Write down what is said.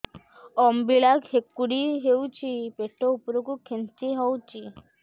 ଅମ୍ବିଳା ହେକୁଟୀ ହେଉଛି ପେଟ ଉପରକୁ ଖେଞ୍ଚି ହଉଚି